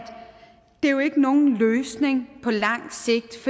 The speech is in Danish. det jo ikke er nogen løsning på langt sigt